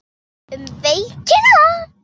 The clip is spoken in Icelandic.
Um veikina